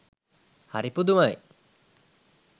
හරි පුදුමයි!